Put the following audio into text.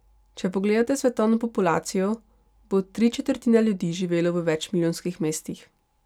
Če pogledate svetovno populacijo, bo tri četrtine ljudi živelo v večmilijonskih mestih.